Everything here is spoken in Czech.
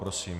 Prosím.